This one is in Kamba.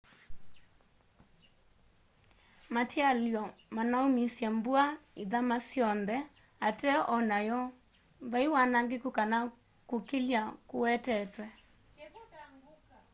matialyo manaumisye mbua ithama syonthe ateo o nayu vai wanangiku kana kukilya kuwetetwe